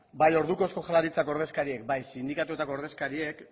bai orduko euskal jaurlaritzak ordezkariek bai sindikatuetako ordezkariek